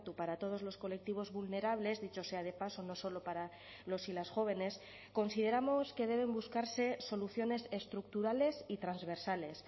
para todos los colectivos vulnerables dicho sea de paso no solo para los y las jóvenes consideramos que deben buscarse soluciones estructurales y transversales